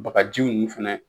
Bagaji ninnu fɛnɛ.